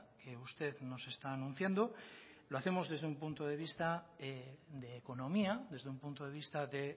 que usted nos está anunciando lo hacemos desde un punto de vista de economía desde un punto de vista de